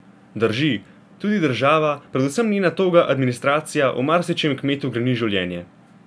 Drži, tudi država, predvsem njena toga administracija, v marsičem kmetu greni življenje.